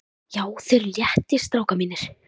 JÁ, ÞIÐ ERUÐ LÉTTIR, STRÁKAR MÍNIR!